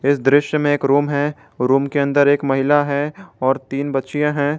इस दृश्य में एक रूम है रूम के अंदर एक महिला है और तीन बच्चियां हैं।